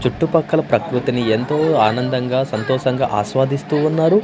చుట్టుపక్కల ప్రకృతిని ఎంతో ఆనందంగా సంతోషంగా ఆస్వాదిస్తూ ఉన్నారు.